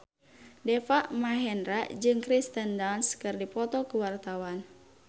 Deva Mahendra jeung Kirsten Dunst keur dipoto ku wartawan